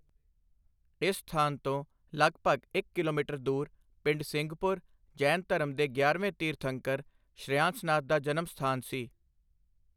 ਇਸ ਸਥਾਨ ਤੋਂ ਲਗਭਗ ਇੱਕ ਕਿਲੋਮੀਟਰ ਦੂਰ ਪਿੰਡ ਸਿੰਘਪੁਰ, ਜੈਨ ਧਰਮ ਦੇ ਗਿਆਰਵੇਂ ਤੀਰਥੰਕਰ ਸ਼੍ਰੇਆਂਸਨਾਥ ਦਾ ਜਨਮ ਸਥਾਨ ਸੀ।